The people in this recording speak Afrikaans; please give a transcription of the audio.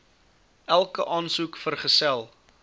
elke aansoek vergesel